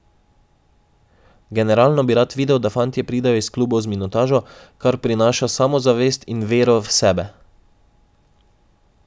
Generalno bi rad videl, da fantje pridejo iz klubov z minutažo, kar prinaša samozavest in vero v sebe.